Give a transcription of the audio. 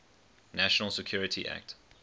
national security act